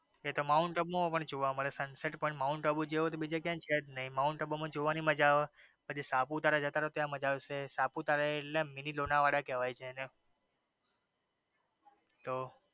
એ તો માઉન્ટઆબુ મા પણ જોવા મળે sunset point માઉન્ટઆબુ જેવો તો બીજે ક્યાંય છે જ નઈ. માઉન્ટઆબુ માં જોવાની મજા આવે પછી સાપુતારા જતા રયો ત્યાં મજા આવશે. સાપુતારા એટલે મીની લોનાવાડા કેવાઈ છે.